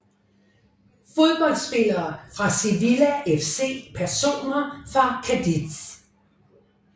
Fodboldspillere fra Sevilla FC Personer fra Cádiz